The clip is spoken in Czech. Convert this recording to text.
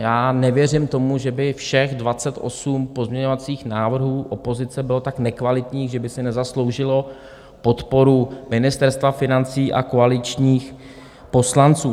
Já nevěřím tomu, že by všech 28 pozměňovacích návrhů opozice bylo tak nekvalitních, že by si nezasloužilo podporu Ministerstva financí a koaličních poslanců.